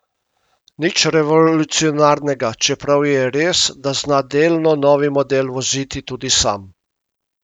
Nič revolucionarnega, čeprav je res, da zna delno novi model voziti tudi sam.